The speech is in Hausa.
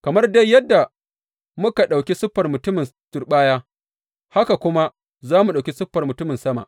Kamar dai yadda muka ɗauki siffar mutumin turɓaya, haka kuma za mu ɗauki siffar mutumin sama.